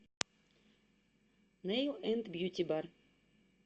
нэил энд бьютибар